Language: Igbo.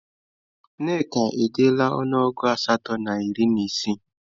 Nneka edeela ọnụọgụ asatọ na iri na isii